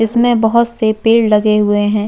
इसमें बहोत से पेड़ लगे हुए है।